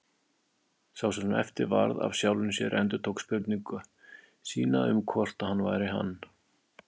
Sá sem eftir varð af sjálfum sér endurtók spurningu sína um hvort hann væri hann.